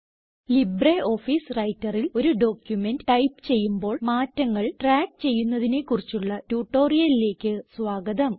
LibreOffice Writerൽ ഒരു document type ചെയ്യുമ്പോൾ മാറ്റങ്ങൾ ട്രാക്ക് ചെയ്യുന്നതിനെ കുറിച്ചുള്ള ട്യൂട്ടോറിയലിലേക്ക് സ്വാഗതം